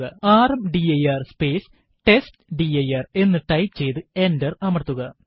rmdir space testdir എന്ന് type ചെയ്തു enter അമർത്തുക